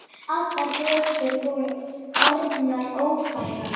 Allar götur voru orðnar ófærar.